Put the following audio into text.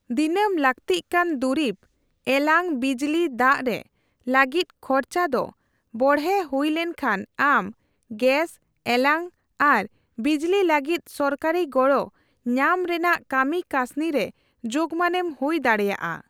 ᱫᱤᱱᱟᱹᱢ ᱞᱟᱹᱠᱛᱤᱜ ᱠᱟᱱ ᱫᱩᱨᱤᱵ ( ᱮᱞᱟᱝ, ᱵᱤᱡᱽᱞᱤ, ᱫᱟᱜ)ᱼᱨᱮ ᱞᱟᱹᱜᱤᱫ ᱠᱷᱚᱨᱪᱟ ᱫᱚ ᱵᱚᱲᱦᱮ ᱦᱩᱭ ᱞᱮᱱᱠᱷᱟᱱ ᱟᱢ ᱜᱮᱥ/ᱮᱞᱟᱝ ᱟᱨ ᱵᱤᱡᱞᱤ ᱞᱟᱹᱜᱤᱫ ᱥᱚᱨᱠᱟᱨᱤ ᱜᱚᱲᱚ ᱧᱟᱢ ᱨᱮᱭᱟᱜ ᱠᱟᱹᱢᱤᱠᱟᱹᱥᱱᱤ ᱨᱮ ᱡᱳᱜᱢᱟᱱᱮᱢ ᱦᱩᱭ ᱫᱟᱲᱮᱭᱟᱜᱼᱟ ᱾